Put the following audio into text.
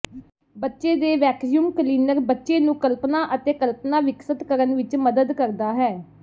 ਬੱਚੇ ਦੇ vacuum cleaner ਬੱਚੇ ਨੂੰ ਕਲਪਨਾ ਅਤੇ ਕਲਪਨਾ ਵਿਕਸਤ ਕਰਨ ਵਿੱਚ ਮਦਦ ਕਰਦਾ ਹੈ